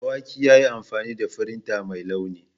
Dawaki ya yi amfani da firinta mai launi.